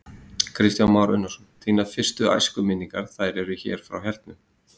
Kristján Már Unnarsson: Þínar fyrstu æskuminningar, þær eru hér frá hernum?